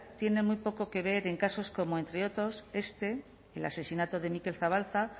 tienen muy poco que ver en casos como entre otros este el asesinato de mikel zabalza